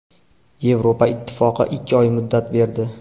Yevropa Ittifoqi ikki oy muddat berdi.